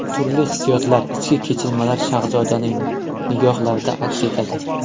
Turli hissiyotlar, ichki kechinmalar Shahzodaning nigohlarida aks etadi.